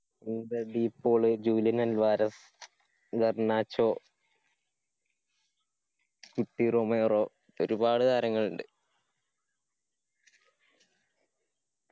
D Paul Julian Alvarez Garnacho Cuti Romero ഒരുപാട് താരങ്ങളിണ്ട്